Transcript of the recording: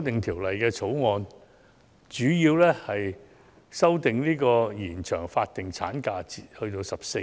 《條例草案》的主要修訂，是延長法定產假至14周。